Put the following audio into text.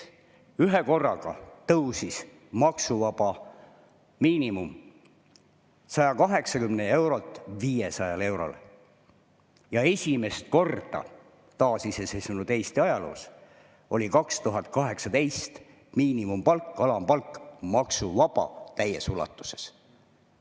Ühekorraga tõusis maksuvaba miinimum 180 eurolt 500 eurole ja 2018 oli esimest korda taasiseseisvunud Eesti ajaloos miinimumpalk, alampalk maksuvaba täies ulatuses.